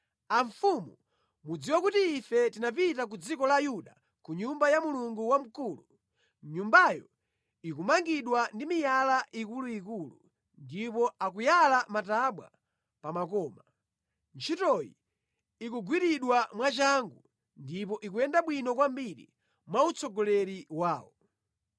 Amfumu mudziwe kuti ife tinapita ku dziko la Yuda ku Nyumba ya Mulungu wamkulu. Nyumbayo ikumangidwa ndi miyala ikuluikulu ndipo akuyala matabwa pa makoma. Ntchitoyi ikugwiridwa mwachangu ndipo ikuyenda bwino kwambiri mwautsogoleri wawo.